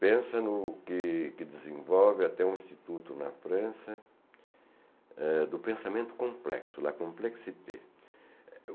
Pensa no que que desenvolve até o Instituto na França, eh do pensamento complexo, la complexité.